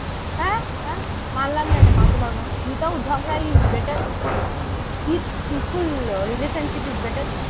আ আ, মানলাম না এটা মানতে পারবো না without ঝগড়া is better peaceful relationship is better.